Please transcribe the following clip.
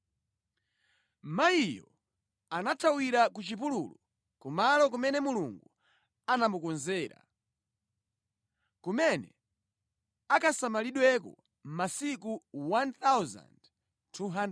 Mayiyo anathawira ku chipululu ku malo kumene Mulungu anamukonzera, kumene akasamalidweko masiku 1,260.